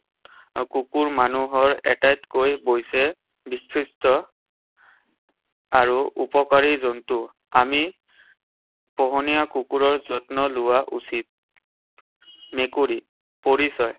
কুকুৰ মানুহৰ আটাইতকৈ আৰু উপকাৰী জন্তু। আমি পোহনীয়া কুকুৰৰ যত্ন লোৱা উচিত। মেকুৰী। পৰিচয়।